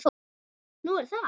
Nú, er það?